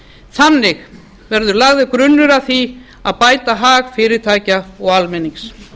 þannig verði lagður grunnur að því að bæta hag fyrirtækja og almennings